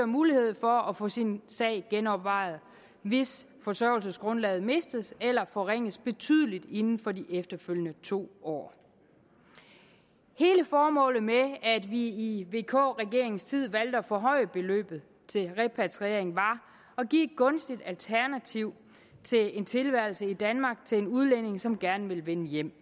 mulighed for at få sin sag genovervejet hvis forsørgelsesgrundlaget mistes eller forringes betydeligt inden for de efterfølgende to år hele formålet med at vi i vk regeringens tid valgte at forhøje beløbet til repatriering var at give et gunstigt alternativ til en tilværelse i danmark til en udlænding som gerne ville vende hjem